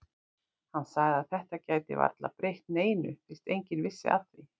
Hann sagði að þetta gæti varla breytt neinu fyrst enginn vissi af því.